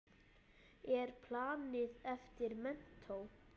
Hvert er planið eftir menntó?